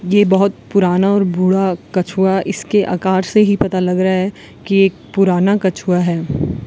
ये बहोत पुराना और बुढ़ा कछुआ इसके आकार से ही पता लग रहा है कि एक पुराना कछुआ है।